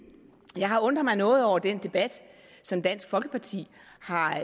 jeg har undret mig noget over den debat som dansk folkeparti har